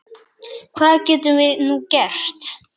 Hvað getum við nú gert?